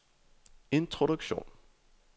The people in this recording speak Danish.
introduktion